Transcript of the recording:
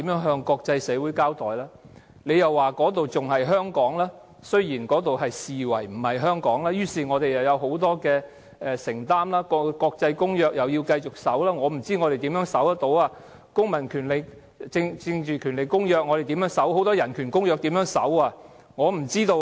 政府說那裏仍然是香港，雖然那裏被視為不是香港，於是我們仍然有很多承擔，須繼續遵守國際公約——但我不知我們可以怎樣遵守《公民權利和政治權利國際公約》、國際人權公約等各項公約。